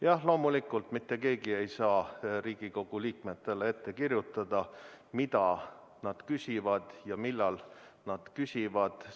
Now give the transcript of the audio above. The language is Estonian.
Jah, loomulikult mitte keegi ei saa Riigikogu liikmetele ette kirjutada, mida nad küsivad ja millal nad küsivad.